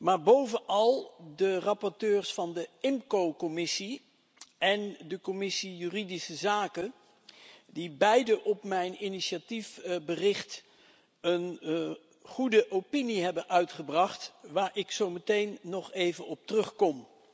maar bovenal de rapporteurs van de IMCO commissie en de Commissie juridische zaken, die beide op mijn initiatiefverslag een goed advies hebben uitgebracht waar ik zo meteen nog even op terugkom.